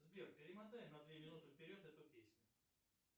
сбер перемотай на две минуты вперед эту песню